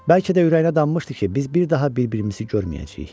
Bəlkə də ürəyinə danmışdı ki, biz bir daha bir-birimizi görməyəcəyik.